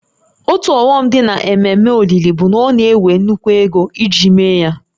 Otu ọghọm dị n'ememe olili bụ na ọ na-ewe nnukwu ego iji mee ya